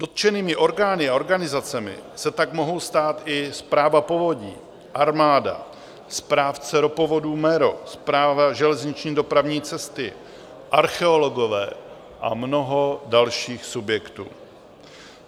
Dotčenými orgány a organizacemi se tak mohou stát i správa povodí, armáda, správce ropovodů MERO, Správa železniční dopravní cesty, archeologové a mnoho dalších subjektů.